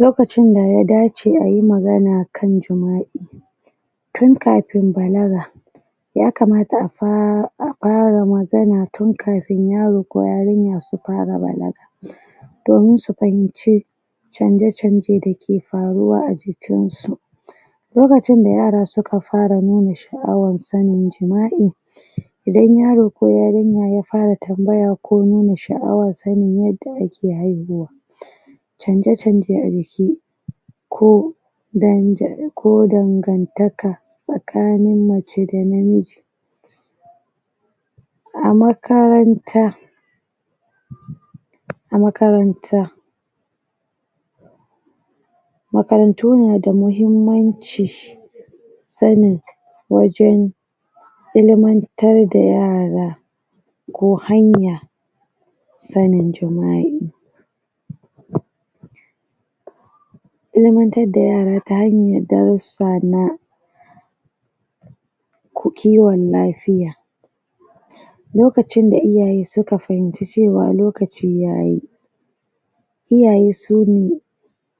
lokacin da ya dace ayi magana kan jima'i tun kafin balaga ya kamata a fara magana tun kafin yaro ko yarinya su fara balaga domin su fahimce canje-vanje dakle faruwa a jikin su lokacin da yara suka fara nuna sha'awan sanin jima'i idan yaro ko yarinya ya fara tambaya ko nuna sha'awan sanin yadda ake haihuwa canje-canje a jiki ko danja ko dangantaka tsakanin mace da na miji a makaranta a makaranta makarantu nada muhimmanci sanin wajen ilmantar da yara ko hanya sanin jima'i. ilmantar da yara ta hanyar darussa na kiwon lafiya lokacin da iyaye suka fahimci cewa lokaci yayi iyaye sune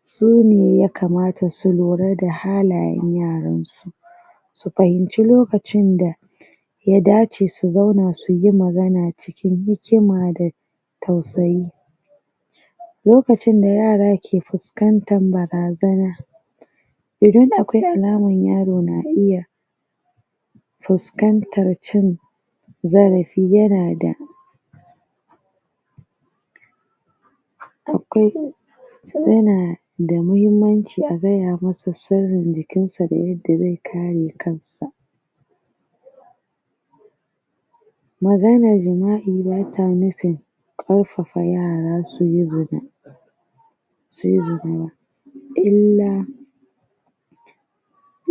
sune ya kamata su lura da halayen yaransu su fahimci lokacin da ya dace su zauna suyi magana cikin hikima da tausayi lokacin da yara ke fuskantar barazana idan akwai alamar yaro na iya fuskantar cin zarafi yana da akwai yanada muhimmanci a gaya masa sirrin jikinsa da yadda zai kare kansa maganar jima'i bata nufin karfafa yara suyi zina suyi zina illa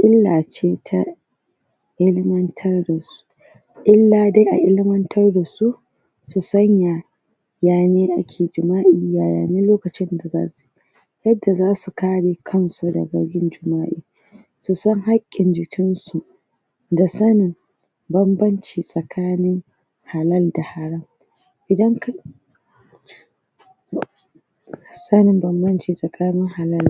illa ce ta ilmantar da su illa dai a ilmantar dasu su sanya yane ake jima'i yayane lokacin da zasu yadda zasu kare kansu daga yin jima'i susan haƙƙin jikin su da sanin banbanci tsakanin halal da haram idan ka sanin banbanci tsakanin halal